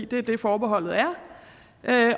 det er det forbeholdet er